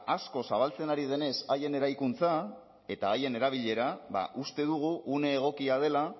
asko zabaltzen ari denez haien eraikuntza eta haien erabilera ba uste dugu une egokia dela